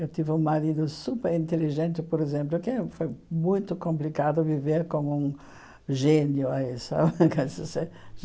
Eu tive um marido super inteligente, por exemplo, que foi muito complicado viver com um gênio.